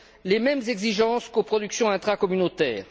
les mêmes exigences qu'aux productions intracommunautaires.